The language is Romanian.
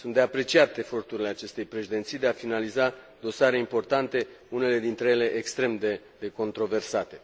Sunt de apreciat eforturile acestei Președinții de a finaliza dosare importante, unele dintre ele extrem de controversate.